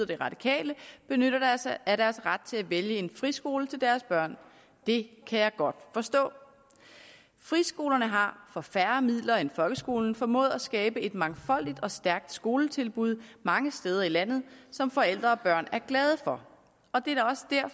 de radikale benytter sig af deres ret til at vælge en friskole til deres børn det kan jeg godt forstå friskolerne har for færre midler end folkeskolen formået at skabe et mangfoldigt og stærkt skoletilbud mange steder i landet som forældre og børn er glade for